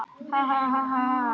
Síðan fékk Katrín umboð.